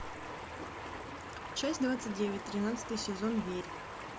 часть двадцать девять тринадцатый сезон верь